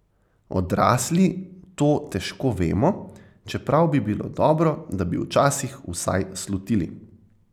Odrasli to težko vemo, čeprav bi bilo dobro, da bi včasih vsaj slutili.